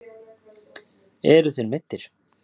Eruð þér meiddur?